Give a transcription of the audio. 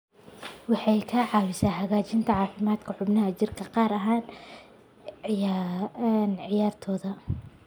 Waxay ka caawisaa hagaajinta caafimaadka xubnaha jirka, gaar ahaan ciyaartoyda.